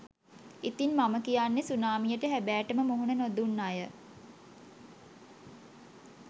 ඉතින් මම කියන්නෙ සුනාමියට හැබෑටම මුහුණ නොදුන් අය